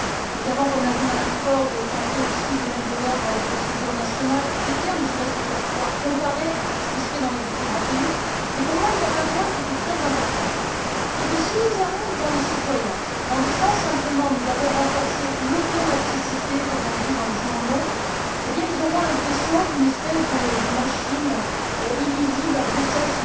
Nous avons, comme l'a dit Mme Ford, tenté aussi de mettre de l'ordre dans les procédures budgétaires nationales, ne serait ce que pour pouvoir comparer ce qui se fait dans les différents pays. Mais pour moi, un point était très important c'est que si nous allons devant les citoyens en disant simplement nous avons renforcé l'automaticité, comme on dit dans les journaux, eh bien, ils auront l'impression qu'une espèce de machine incompréhensible se déclenche à Bruxelles